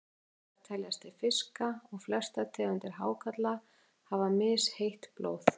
Hákarlar teljast til fiska og flestar tegundir hákarla hafa misheitt blóð.